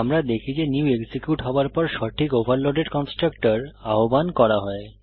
আমরা দেখি যে নিউ এক্সিকিউট হওয়ার পর সঠিক ওভারলোডেড কন্সট্রাকটর আহ্বান করা হয়